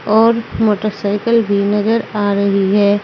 और मोटरसाइकल भी नजर आ रही है।